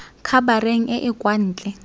khabareng e e kwa ntle